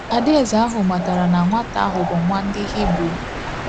Adaeze ahụ matara na nwata ahụ bụ nwa ndị Hibru.